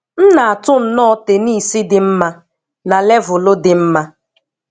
M na-atụ nnọọ tenisi dị mma, na levulu di mma.